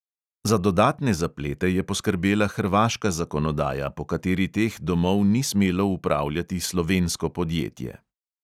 Za dodatne zaplete je poskrbela hrvaška zakonodaja, po kateri teh domov ni smelo upravljati slovensko podjetje.